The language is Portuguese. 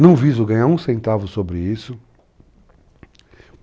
Não viso ganhar um centavo sobre isso.